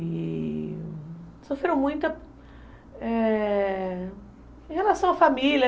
E sofreram muito, é... em relação à família.